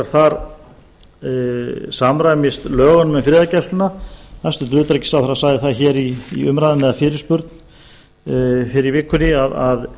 þar samræmist lögum um friðargæslu hæstvirts utanríkisráðherra sagði í umræðum eða fyrirspurn fyrr í vikunni að